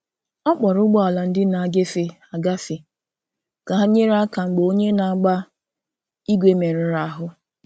Ọ kpọrọ ụgbọ̀ala ndị na-agefe agafe ka hà nyere aka mgbe onye na-agba ígwè merụrụ ahú.